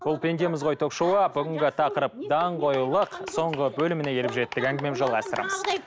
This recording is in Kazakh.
бұл пендеміз ғой ток шоуы бүгінгі тақырып даңғойлық соңғы бөліміне келіп жеттік әңгіме жалғастырамыз